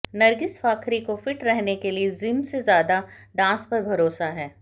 नरगिस फाखरी को फिट रहने के लिए जिम से ज्यादा डांस पर भरोसा है